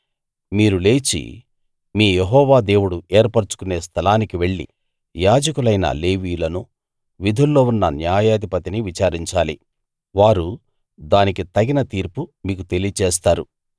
మీరు లేచి మీ యెహోవా దేవుడు ఏర్పరచుకొనే స్థలానికి వెళ్లి యాజకులైన లేవీయులనూ విధుల్లో ఉన్న న్యాయాధిపతినీ విచారించాలి వారు దానికి తగిన తీర్పు మీకు తెలియచేస్తారు